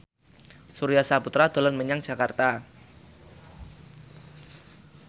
Surya Saputra dolan menyang Jakarta